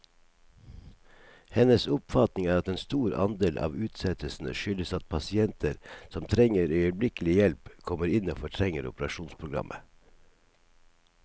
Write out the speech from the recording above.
Hennes oppfatning er at en stor andel av utsettelsene skyldes at pasienter som trenger øyeblikkelig hjelp, kommer inn og fortrenger operasjonsprogrammet.